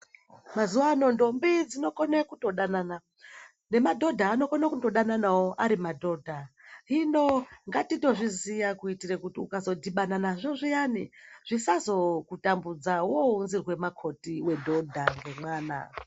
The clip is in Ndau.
Mazuwano ndombi dzinokone kutodanana, nemadhodha anokone kutodananawo ari madhodha. Hino ngatitozviziya kuitire kuti ukazodhibana nazvo zviyani zvisazokutambudza wounzirwe makhoti wedhodha ngemwana.